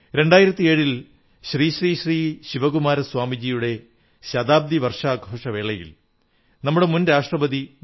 2007 ൽ ശ്രീ ശ്രീ ശ്രീ ശിവകുമാര സ്വാമിജിയുടെ ശതാബ്ദി വർഷാഘോഷവേളയിൽ നമ്മുടെ മുൻ രാഷ്ട്രപതി ഡോ